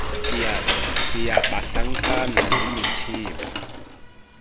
ke ya banhlankana le methepa